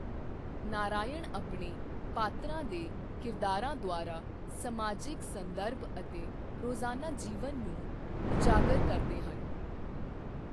ਨਾਰਾਇਣ ਆਪਣੇ ਪਾਤਰਾਂ ਦੇ ਕਿਰਦਾਰਾਂ ਦੁਆਰਾ ਸਮਾਜਿਕ ਸੰਦਰਭ ਅਤੇ ਰੋਜ਼ਾਨਾ ਜੀਵਨ ਨੂੰ ਉਜਾਗਰ ਕਰਦੇ ਹਨ।